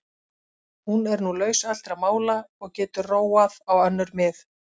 Hún er nú laus allra mála og getur róað á önnur mið.